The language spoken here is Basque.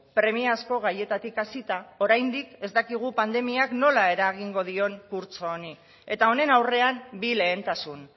premiazko gaietatik hasita oraindik ez dakigu pandemiak nola eragingo dion kurtso honi eta honen aurrean bi lehentasun